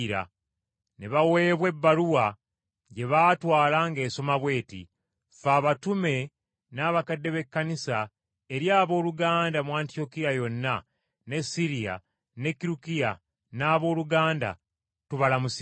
Ne baweebwa ebbaluwa gye baatwala ng’esoma bw’eti: Ffe abatume, n’abakadde b’ekkanisa, Eri abooluganda, mu Antiyokiya yonna ne Siriya ne Kirukiya: Abooluganda tubalamusizza.